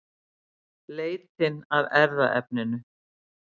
Leitin að erfðaefninu